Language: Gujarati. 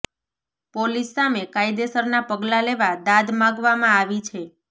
પોલિસ સામે કાયદેસરના પગલા લેવા દાદ માગવામાં આવી છે